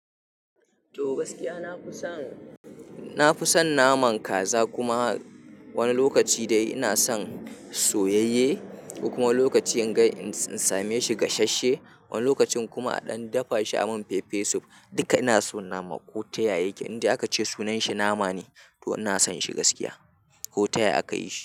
To gaskiya na fi son, na fi son naman kaza kuma wani lokaci dai ina son soyayye. Kuma lokaci in ga in same shi gasasshe, wani lokacin kuma an dafa shi a mun fefe soup. Duka ina so nama ko taya yake, inda aka ce sunan shi nama ne to ina son shi gaskiya ko taya aka yi shi.